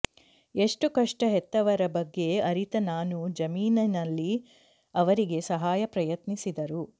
ಎಷ್ಟು ಕಷ್ಟ ಹೆತ್ತವರ ಬಗ್ಗೆ ಅರಿತ ನಾನು ಜಮೀನಿನಲ್ಲಿ ಅವರಿಗೆ ಸಹಾಯ ಪ್ರಯತ್ನಿಸಿದರು